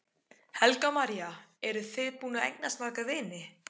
Helga María: Eru þið búin að eignast marga vini?